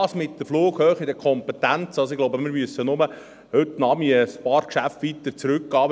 Das mit der Flughöhe und den Kompetenzen: Ich glaube, wir müssen nur ein paar Geschäfte von heute Nachmittag zurückgehen.